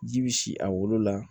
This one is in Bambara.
Ji bi si a wolo la